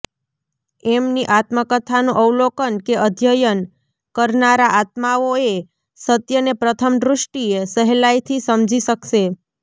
એમની આત્મકથાનું અવલોકન કે અધ્યયન કરનારા આત્માઓ એ સત્યને પ્રથમ દૃષ્ટિએ સહેલાઇથી સમજી શકશે